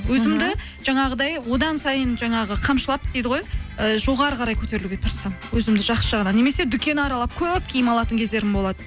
өзімді жаңағыдай одан сайын жаңағы қамшылап дейді ғой і жоғарыға қарай көтерілуге тырысамын өзімді жақсы жағынан немесе дүкен аралап көп киім алатын кездерім болады